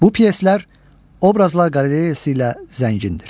Bu pyeslər obrazlar qalereyası ilə zəngindir.